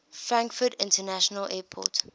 frankfurt international airport